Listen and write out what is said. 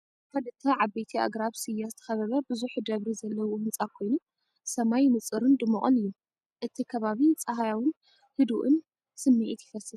ብኽልተ ዓበይቲ ኣግራብ ስየ ዝተኸበበ ብዙሕ ደደብሪ ዘለዎ ህንጻ ኮይኑ፡ ሰማይ ንጹርን ድሙቕን እዩ። እቲ ከባቢ ጸሓያውን ህዱእን ስምዒት ይፈስስ።